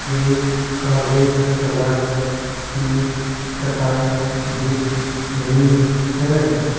एक काले कलर की चटाई दिख रही है।